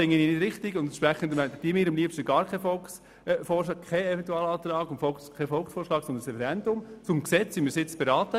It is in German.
Ich finde das nicht richtig, und entsprechend hätte ich am liebsten gar keinen Eventualantrag und keinen Volksvorschlag, sondern ein Referendum zum Gesetz, wie der Grosse Rat es gewollt hat.